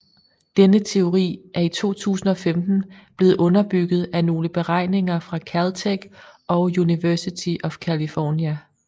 Denne teori er i 2015 blevet underbygget af nogle beregninger fra Caltech og University of California